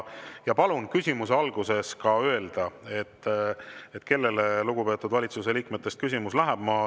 Palun küsimuse alguses ka öelda, kellele lugupeetud valitsuse liikmetest küsimus läheb.